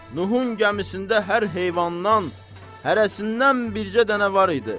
Nuhun gəmisində hər heyvandan hərəsindən bircə dənə var idi.